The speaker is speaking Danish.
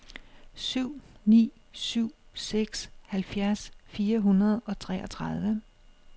syv ni syv seks halvfjerds fire hundrede og treogtredive